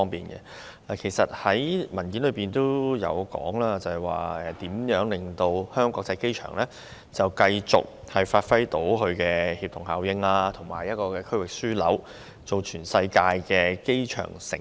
預算案提到可如何令香港國際機場繼續發揮協同效應，成為區域樞紐，以至成為全世界的"機場城市"。